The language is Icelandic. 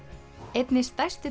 einni stærstu